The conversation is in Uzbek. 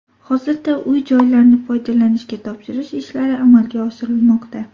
Hozirda uy-joylarni foydalanishga topshirish ishlari amalga oshirilmoqda.